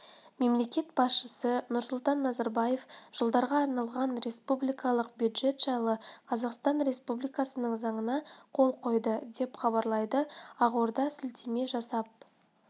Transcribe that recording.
мемлекет басшысы нұрсұлтан назарбаев жылдарға арналған республикалық бюджет жайлы қазақстан республикасының заңына қол қойды деп хабарлайды ақордаға сілтеме жасап